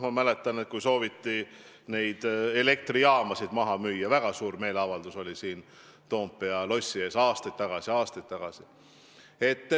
Ma mäletan, et kui sooviti elektrijaamasid maha müüa, oli aastaid tagasi siin Toompea lossi ees väga suur meeleavaldus.